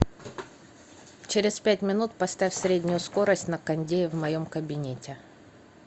через пять минут поставь среднюю скорость на кондее в моем кабинете